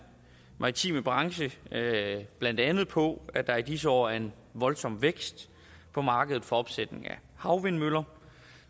maritime branche blandt andet på at der i disse år er en voldsom vækst på markedet for opsætning af havvindmøller